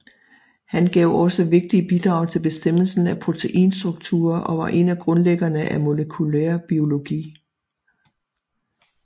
Han gav også vigtige bidrag til bestemmelsen af proteinstrukturer og var en af grundlæggerne af molekylær biologi